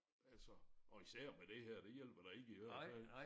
Altså og især med det her det hjælper da ikke i hvert fald